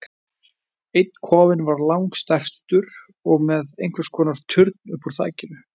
Einn kofinn var langstærstur og með einhvers konar turn upp úr þakinu.